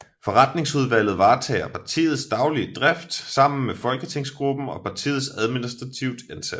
Forretningsudvalget varetager partiets daglige drift sammen med folketingsgruppen og partiets administrativt ansatte